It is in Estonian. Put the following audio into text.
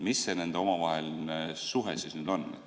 Mis see nende omavaheline suhe siis nüüd on?